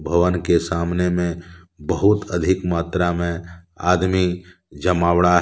भवन के सामने में बहुत अधिक मात्रा में आदमी जमावड़ा है।